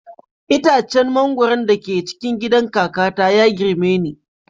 Itacen mangwaro da ke cikin gidan kakata ya girme ni